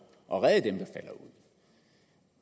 at redde dem